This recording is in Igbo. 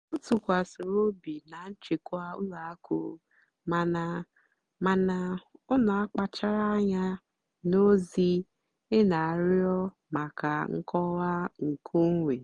ọ́ tụ́kwàsìrì óbì nà nchèkwà ùlọ àkụ́ màná màná ọ́ nà-àkpàchárá ànyá nà ózì-é nà-àrịọ́ màkà nkọ́wá nkèónwé.